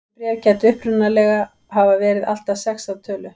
Þessi bréf gætu upprunalega hafa verið allt að sex að tölu.